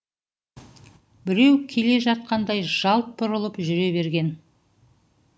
біреу келе жатқандай жалт бұрылып жүре берген